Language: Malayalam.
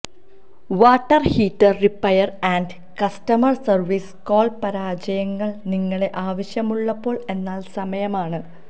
water heater repair and customer service call പരാജയങ്ങൾ നിങ്ങളെ ആവശ്യമുള്ളപ്പോൾ എന്നാൽ സമയമാണ്